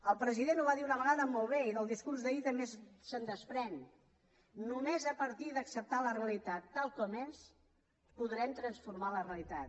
el president ho va dir una vegada molt bé i del discurs d’ahir també se’n desprèn només a partir d’acceptar la realitat tal com és podrem transformar la realitat